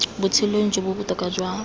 botshelong bo bo botoka jwa